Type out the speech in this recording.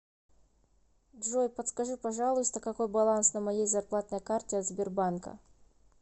джой подскажи пожалуйста какой баланс на моей зарплатной карте от сбербанка